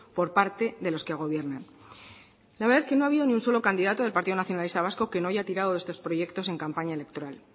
por parte de los que gobiernan la verdad es que no ha habido ni un solo candidato del partido nacionalista vasco que no haya tirado de estos proyectos en campaña electoral